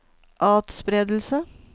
atspredelse